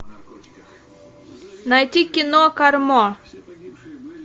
найти кино кармо